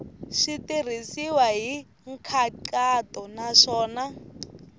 swi tirhisiwile hi nkhaqato naswona